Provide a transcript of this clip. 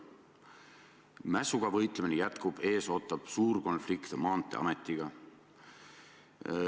Mässuga võitlemine jätkub, ees ootab suur konflikt Maanteeametiga.